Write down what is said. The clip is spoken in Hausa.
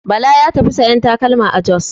Bala ya tafi sayan takalma a Jos.